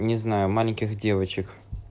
не знаю маленьких девочек